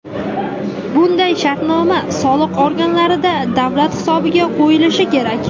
Bunda shartnoma soliq organlarida davlat hisobiga qo‘yilishi kerak.